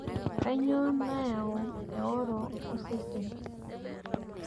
kainyioo nayau eoro osesen?